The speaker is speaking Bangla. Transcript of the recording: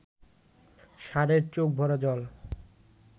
ষাঁড়ের চোখ ভরা জল